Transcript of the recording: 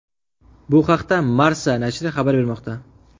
Bu haqida Marca nashri xabar bermoqda .